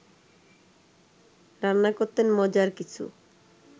রান্না করতেন মজার কিছু